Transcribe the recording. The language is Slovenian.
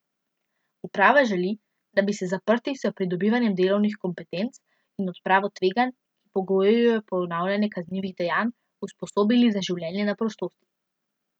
Uprava želi, da bi se zaprti s pridobivanjem delovnih kompetenc in odpravo tveganj, ki pogojujejo ponavljanje kaznivih dejanj, usposobili za življenje na prostosti.